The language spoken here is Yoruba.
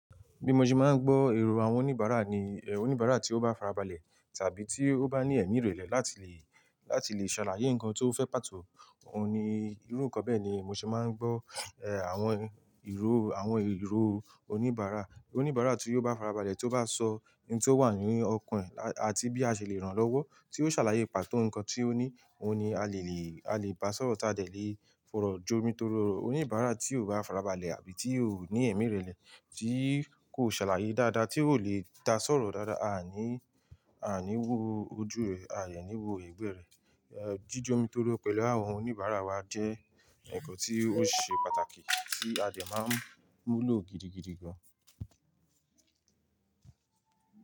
Bí mo ṣe máa ń gbọ́ èrò àwọn oníbàárà ni, ẹ̀ oníbàárà tó bá farabalẹ̀ tàbí tí ó bá ní ẹ̀mí ìrẹ̀lẹ̀ láti lè, láti lè ṣàlàyé nǹkan tó fẹ́ pàtó òun ni, irú nǹkan bẹ́ẹ̀ ni mo ṣe máa ń gbọ́. Ẹ̀ àwọn ìró, àwọn ìró oníbàárà. Oníbàárà tó bá farabalẹ̀ tó bá sọ nǹkan tó wà nínú ọkàn ẹ̀ àti bí a ṣe lè rànlọ́wọ́ tí ó ṣàlàyé pàtó nǹkan tí ó ní, òun ni a lè lè, a lè bá sọ̀rọ̀ táa dẹ̀ lè fọ̀rọ̀ jomitoro. Oníbàárà tí kò bá farabalẹ̀ àbí tí kò ní ẹ̀mí ìrẹ̀lẹ̀, tí kò ṣàlàyé dáadáa, tí kò lè dá sọ̀rọ̀ dáadáa, a à ní, a à ní wo ojú rẹ̀, a à ní wo ègbé rẹ̀. Ẹ̀ jíjomitoro pẹ̀lú àwọn oníbàárà wa jẹ́ ǹkan tí ó ṣe pàtàkì tí a dẹ̀ máa ń mú lò gidigidi gan.